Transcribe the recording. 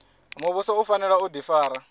muvhuso u fanela u difara